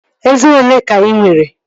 Eze olee ka ị nwere?